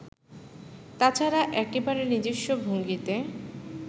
তা ছাড়া একেবারে নিজস্ব ভঙ্গিতে